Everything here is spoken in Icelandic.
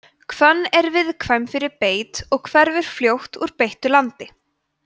hvönn er viðkvæm fyrir beit og hverfur fljótt úr beittu landi